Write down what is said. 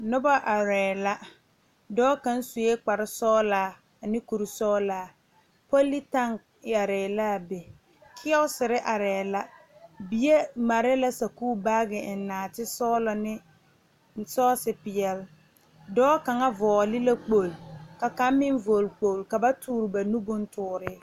Noba are la dɔɔ kaŋ suɛ kpare sɔglaa ne kuri sɔglaa politan are la a be kerosiire are la bie mare la sakuuri baagi a eŋ naate sɔglɔ a eŋ sɔɔsi peɛle dɔɔ kaŋa vɔgle la kpoŋlo ka kaŋ meŋ vɔgle kpoŋlo ka ba tuure ba nu bontuure.